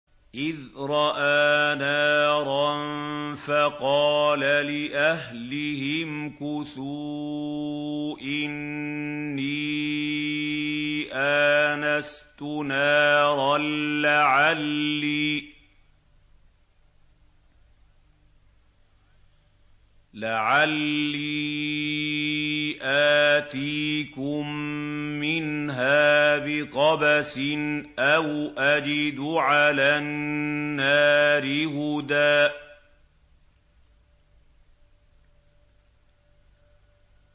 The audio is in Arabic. إِذْ رَأَىٰ نَارًا فَقَالَ لِأَهْلِهِ امْكُثُوا إِنِّي آنَسْتُ نَارًا لَّعَلِّي آتِيكُم مِّنْهَا بِقَبَسٍ أَوْ أَجِدُ عَلَى النَّارِ هُدًى